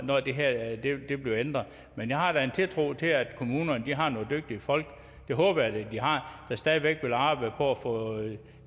når det her bliver ændret men jeg har da en tiltro til at kommunerne har nogle dygtige folk det håber jeg da de har der stadig væk vil arbejde for at få